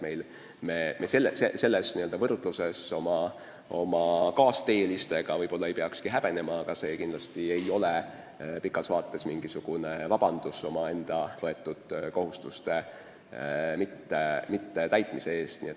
Nii et võrdluses oma kaasteelistega ei peakski me häbenema, aga pikas vaates ei ole see kindlasti mingisugune vabandus, kui me omaenda võetud kohustusi ei täida.